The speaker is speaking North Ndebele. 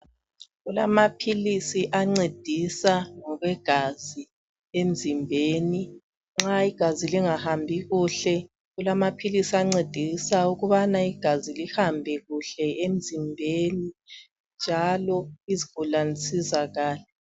Kulama pills angcedisa ngokwegazi emzimbeni nxa igazi lingahambi kuhle kulamapills angcedisa ukubana igazi lihambe kuhle emzimbeni njalo izigulani zisizakale